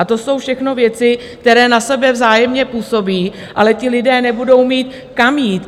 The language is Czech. A to jsou všechno věci, které na sebe vzájemně působí, ale ti lidé nebudou mít kam jít.